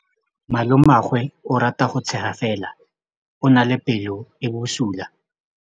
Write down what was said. Malomagwe o rata go tshega fela o na le pelo e e bosula.